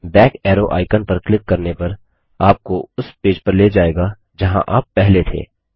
back arrow icon पर click करने पर आपको उस पेज पर ले जाएगा जहाँ आप पहले थे